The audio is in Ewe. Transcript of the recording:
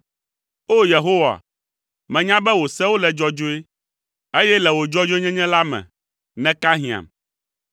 O! Yehowa, menya be wò sewo le dzɔdzɔe, eye le wò dzɔdzɔenyenye la me, nèka hiãm.